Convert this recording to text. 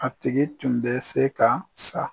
A tigi tun bɛ se ka sa